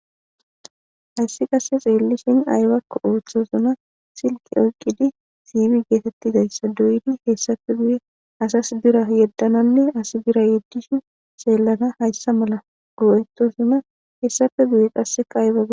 hayssi qasse xeellishin aybako ooththosona shiqi oyqqidi siibi geetettidayssa doyidi hessafe guye asas bira yeddananne asi bira yeddishin seelana hayssa mala goo7etosuna hessafe guye qasseka aybaga